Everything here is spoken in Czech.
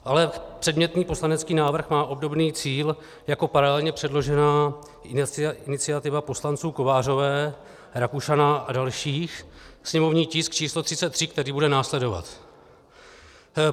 Ale předmětný poslanecký návrh má obdobný cíl jako paralelně předložená iniciativa poslanců Kovářové, Rakušana a dalších, sněmovní tisk číslo 33, který bude následovat.